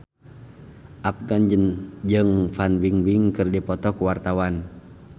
Afgan jeung Fan Bingbing keur dipoto ku wartawan